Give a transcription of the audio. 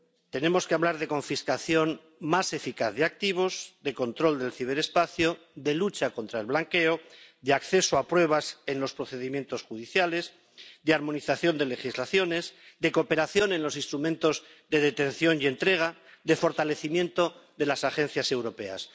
Tenemos que hablar de confiscación más eficaz de activos, de control del ciberespacio, de lucha contra el blanqueo, de acceso a pruebas en los procedimientos judiciales, de armonización de legislaciones, de cooperación en los instrumentos de detención y entrega, de fortalecimiento de las agencias europeas.